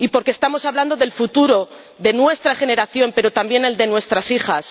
porque estamos hablando del futuro de nuestra generación, pero también del de nuestras hijas